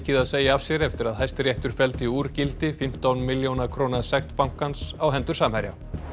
að segja af sér eftir að Hæstiréttur felldi úr gildi fimmtán milljóna króna sekt bankans á hendur Samherja